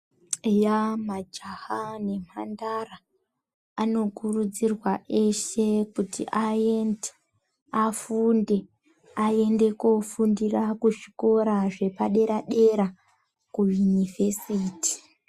Majaya nemhandara anokurudzirwa eshe kuti aende afunde, aende kofundira kuzvikora zvepadera dera kuyunivhesiti .